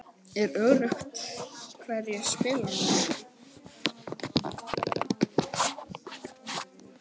Er öruggt hverjir spila núna?